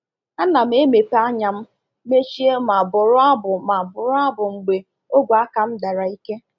Ana m emepe anya m mechie ma bụrụ abụ ma bụrụ abụ mgbe ogwe aka m dara ike.